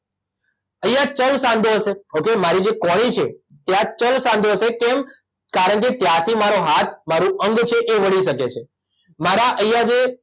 અહીંયા ચલ સાંધો હશે ઓકે મારી જે કોણી છે ત્યાં ચલ સાંધો હશે કેમ કારણકે ત્યાંથી મારો હાથ મારું અંગ છે એ વળી શકે છે મારાં અહીયા જે